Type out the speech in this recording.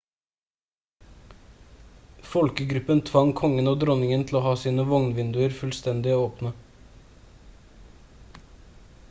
folkegruppen tvang kongen og dronningen til å ha sine vogn-vinduer fullstendig åpne